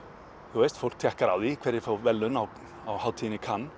þú veist fólk tékkar á því hverjir fá verðlaun á á hátíðinni í